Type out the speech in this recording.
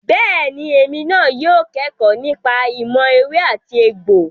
Bẹ́ẹ̀ni, èmi náà yóò kẹ́kọ̀ọ́ nípa ìmọ̀ ewé àti egbò.